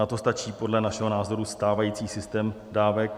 Na to stačí podle našeho názoru stávající systém dávek.